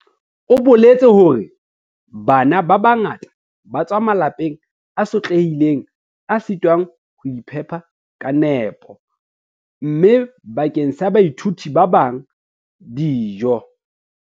O boletse hore "Bana ba bangata ba tswa malapeng a sotlehileng a sitwang ho iphepa ka nepo, mme bakeng sa baithuti ba bang, dijo"